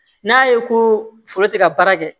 N'a ye ko foro tɛ ka baara kɛ